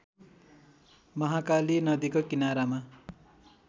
महाकाली नदीको किनारामा